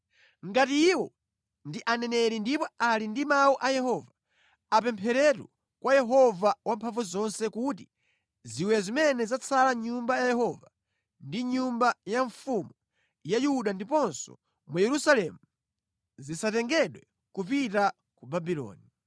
Ngati iwo ndi aneneri ndipo ali ndi mawu a Yehova, apempheretu kwa Yehova Wamphamvuzonse kuti ziwiya zimene zatsala mʼNyumba ya Yehova ndi mʼnyumba ya mfumu ya Yuda ndiponso mu Yerusalemu zisatengedwe kupita ku Babuloni.